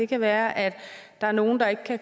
kan være at der er nogle der ikke